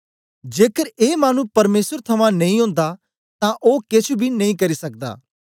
जेकर ए मानु परमेसर थमां नेई ओंदा तां ओ केछ बी नेई करी सकदा